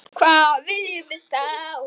Hvað viljum við þá?